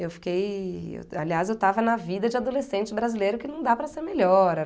Eu fiquei... Aliás, eu tava na vida de adolescente brasileiro que não dá para ser melhor.